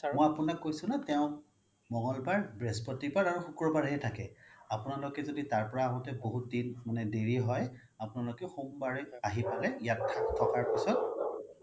মই আপোনাক কৈছো না তেও মঙ্গলবাৰ, বৃহস্পতিবাৰ আৰু শুক্ৰবাৰেহে থাকে আপোনালোকে য্দি তাৰ পৰা আহুতে বহুত দেৰি হৈ আপোনালোকে সোমবাৰে আহি পেলে ইয়াত থকাৰ পিছত